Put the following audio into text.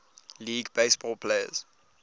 league baseball players